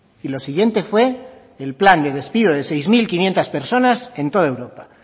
y lo siguiente fue el plan de despido de seis mil quinientos personas en toda europa